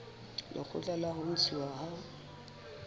lekgotla la ho ntshuwa ha